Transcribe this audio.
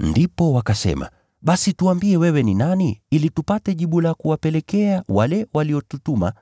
Ndipo wakasema, “Basi tuambie wewe ni nani ili tupate jibu la kuwapelekea wale waliotutuma.